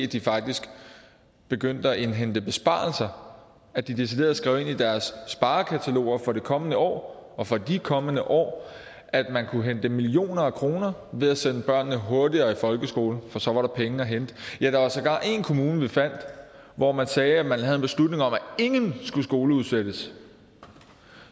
de faktisk begyndte at indhente besparelser at de decideret skrev ind i deres sparekataloger for det kommende år og for de kommende år at man kunne hente millioner af kroner ved at sende børnene hurtigere i folkeskole for så var der penge hente ja der var sågar en kommune vi fandt hvor man sagde at man havde en beslutning om at ingen skulle skoleudsættes